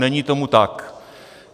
Není tomu tak.